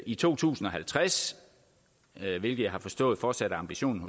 i to tusind og halvtreds hvilket jeg har forstået fortsat er ambitionen